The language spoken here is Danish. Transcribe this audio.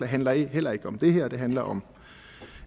handler heller ikke om det her det handler om